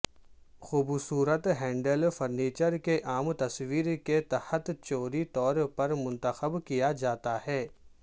خوبصورت handle furniture کے عام تصور کے تحت چوری طور پر منتخب کیا جاتا ہے